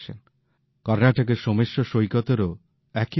কর্ণাটকের সোমেশ্বর সৈকতেরও একই অবস্থা